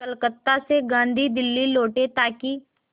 कलकत्ता से गांधी दिल्ली लौटे ताकि